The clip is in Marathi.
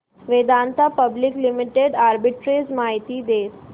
वेदांता पब्लिक लिमिटेड आर्बिट्रेज माहिती दे